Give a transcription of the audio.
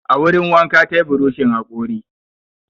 A wurin wanka ta yi burushin haƙori.